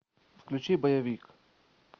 включи боевик